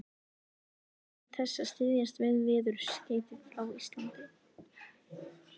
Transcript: nóvember án þess að styðjast við veðurskeyti frá Íslandi.